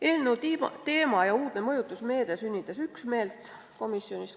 Eelnõu teema ja uudne mõjutusmeede sünnitas komisjonis üksmeelt.